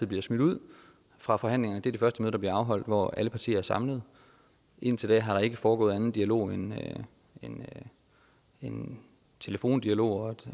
bliver smidt ud fra forhandlingen er det første der bliver afholdt hvor alle partier er samlet indtil da har der ikke foregået anden dialog end end telefondialog